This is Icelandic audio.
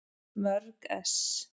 Mörg ess.